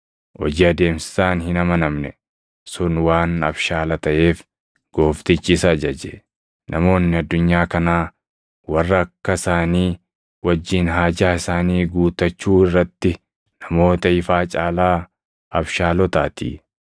“Hojii adeemsisaan hin amanamne sun waan abshaala taʼeef gooftichi isa jaje; namoonni addunyaa kanaa warra akka isaanii wajjin haajaa isaanii guutachuu irratti namoota ifaa caalaa abshaalotaatii.